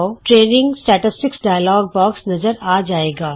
training ਅੰਕੜਾ dialogue box ਨਜ਼ਰ ਆ ਜਾਏਗਾ